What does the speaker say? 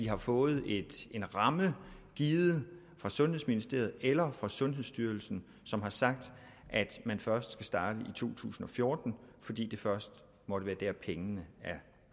har fået en ramme givet af sundhedsministeriet eller sundhedsstyrelsen som har sagt at man først skal starte i to tusind og fjorten fordi det først måtte være der pengene er